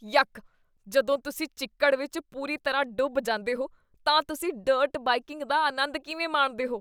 ਯਕ, ਜਦੋਂ ਤੁਸੀਂ ਚਿੱਕੜ ਵਿੱਚ ਪੂਰੀ ਤਰ੍ਹਾਂ ਡੁੱਬ ਜਾਂਦੇ ਹੋ ਤਾਂ ਤੁਸੀਂ ਡਰਟ ਬਾਈਕੀੰਗ ਦਾ ਆਨੰਦ ਕਿਵੇਂ ਮਾਣਦੇ ਹੋ?